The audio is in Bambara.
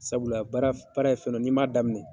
Sabula baara baara ye fɛn dɔ ye n'i m'a daminɛ.